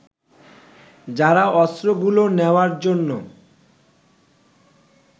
যারা অস্ত্রগুলো নেওয়ার জন্য